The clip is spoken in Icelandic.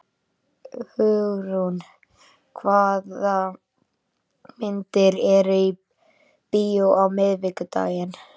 Hugrún, hvaða myndir eru í bíó á miðvikudaginn?